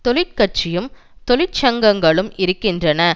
தொழிற்கட்சியும் தொழிற்சங்கங்களும் இருக்கின்றன